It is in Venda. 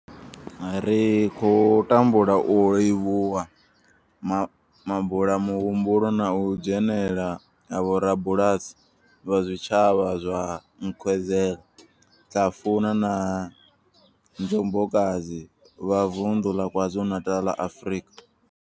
Ri khou tangula u livhuwa mabulamuhumbulo na u dzhenela ha vhorabulasi vha zwitshavha zwa Nkwezela, Hlafuna na Njobokazi vha Vundu la KwaZulu-Natal, Afrika.